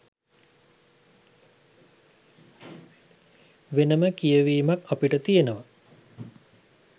වෙනම කියවීමක් අපට තියෙනව.